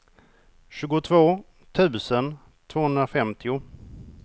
tjugotvå tusen tvåhundrafemtio